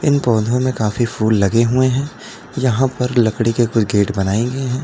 इन पौधों में काफी फूल लगे हुए हैं यहां पर लकड़ी के ऊपर गेट बनाए हुए हैं।